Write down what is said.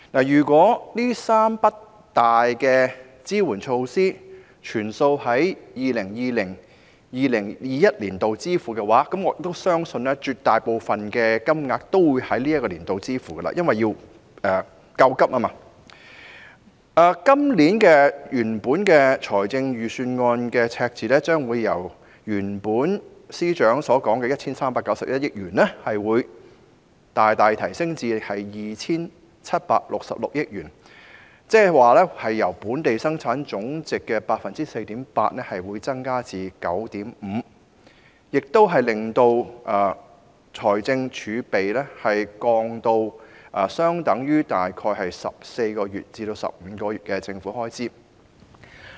如果這3筆重大支援措施的開支悉數在 2020-2021 年度支付，而我相信絕大部分金額都會在這年度內支付，以作應急之用，今年預算案的赤字將會由司長原本所說的 1,391 億元，大大提升至 2,766 億元，即是由佔本地生產總值 4.8% 增加至 9.5%， 這亦令財政儲備下降至相等於大概14個月至15個月的政府開支。